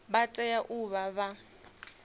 vha tea u vha vha